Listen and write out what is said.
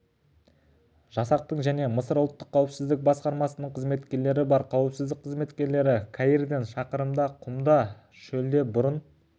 жасақтың және мысыр ұлттық қауіпсіздік басқармасының қызметкерлері бар қауіпсіздік қызметкерлері каирден шақырымда құмды шөлде бұрын